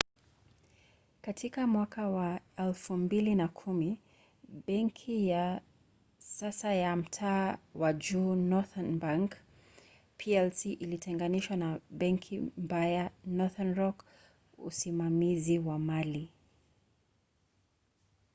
katika mwaka wa 2010 benki ya sasa ya mtaa wa juu northern bank plc ilitenganishwa na ‘benki mbaya’ northern rock usimamizi wa mali